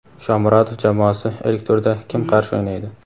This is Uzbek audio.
Shomurodov jamoasi ilk turda kim qarshi o‘ynaydi?.